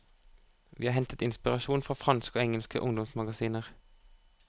Vi har hentet inspirasjon fra franske og engelske ungdomsmagasiner.